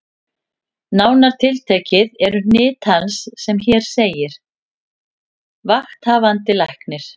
Nánar tiltekið eru hnit hans sem hér segir: Vakthafandi Læknir